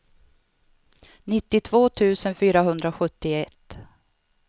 nittiotvå tusen fyrahundrasjuttioett